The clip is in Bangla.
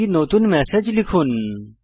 একটি নতুন ম্যাসেজ লিখুন